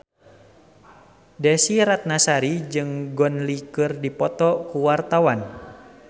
Desy Ratnasari jeung Gong Li keur dipoto ku wartawan